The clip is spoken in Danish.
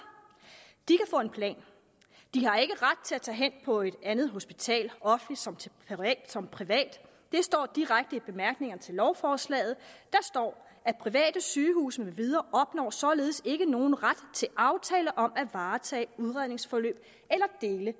de få en plan de har ikke ret til at tage hen på et andet hospital offentligt som som privat det står direkte i bemærkningerne til lovforslaget der står at private sygehuse med videre således ikke opnår nogen ret til aftale om at varetage udredningsforløb eller dele